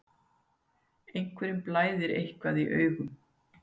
Einhverjum blæðir eitthvað í augum